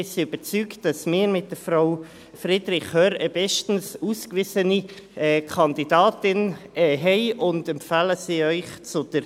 Wir sind überzeugt, dass wir mit Frau Friederich Hörr eine bestens ausgewiesene Kandidatin haben, und empfehlen sie Ihnen zur Wahl.